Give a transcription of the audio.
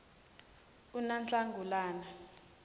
unahlangulana